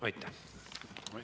Aitäh!